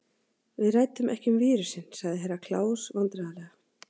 Við ræddum ekki um vírusinn, svarði Herra Kláus vandræðalega.